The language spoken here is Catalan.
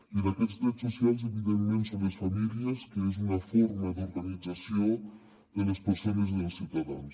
i en aquests drets socials evidentment hi són les famílies que és una forma d’organització de les persones i dels ciutadans